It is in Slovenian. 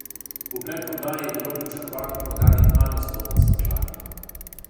V predprodaji je bilo pričakovano prodanih manj vstopnic kot lani.